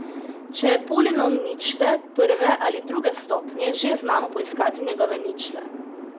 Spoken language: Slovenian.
Če je polinom ničte, prve ali druge stopnje, že znamo poiskati njegove ničle.